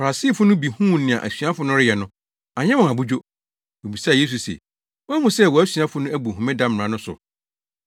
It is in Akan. Farisifo bi huu nea asuafo no reyɛ no, anyɛ wɔn abodwo. Wobisaa Yesu se, “Woahu sɛ wʼasuafo no abu Homeda mmara no so?”